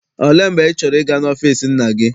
Olee mgbe ị chọrọ ịga n'ọfịịsi nna gị?